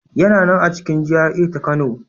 Yana nan a cikin GRA ta Kano.